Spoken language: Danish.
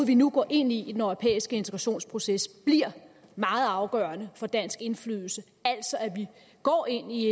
vi nu går ind i i den europæiske integrationsproces bliver meget afgørende for dansk indflydelse altså at vi går ind i